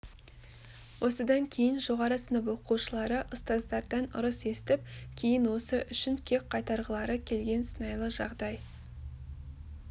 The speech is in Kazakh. осыдан кейін жоғары сынып оқушылары ұстаздардан ұрыс естіп кейін осы үшін кек қайтарғылары келген сыңайлы жағдай